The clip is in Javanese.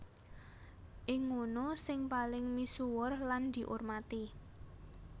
Iki ngunu sing paling misuwur lan diurmati